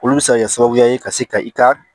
Olu bɛ se ka kɛ sababu ye ka se ka i ka